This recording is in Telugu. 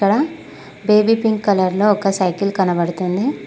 ఇక్కడ బేబీ పింక్ కలర్ లో ఒక సైకిల్ కనబడుతుంది.